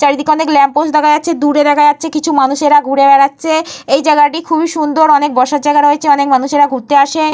চারিদিকে অনেক ল্যাম্পোস্ট দেখা যাচ্ছে। দূরে দেখা যাচ্ছে কিছু মানুষেরা ঘুরে বেড়াচ্ছে। এই জায়গাটি খুবই সুন্দর। অনেক বসার জায়গা রয়েছে। অনেক মানুষেরা ঘুরতে আসে।